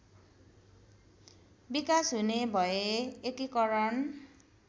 विकास हुने भए एकीकरण